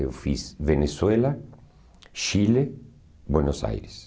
Eu fiz Venezuela, Chile, Buenos Aires.